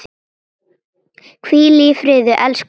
Hvíl í friði, elsku Svava.